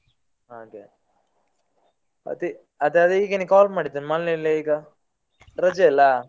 ಹಾಗೆ ಅದೇ ಹೀಗೆನೆ call ಮಾಡಿದ್ ಮನೇಲೆ ಈಗ, ರಜೆ ಅಲ್ಲ.